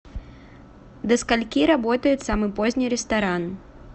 до скольки работает самый поздний ресторан